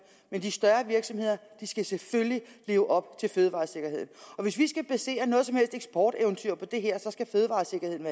men de større virksomheder skal selvfølgelig leve op til fødevaresikkerheden og hvis vi skal basere noget som helt eksporteventyr på det her så skal fødevaresikkerheden